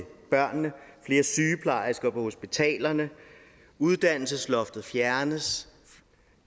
børnene flere sygeplejersker på hospitalerne uddannelsesloftet fjernes